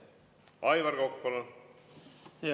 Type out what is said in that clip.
Aivar Kokk, palun!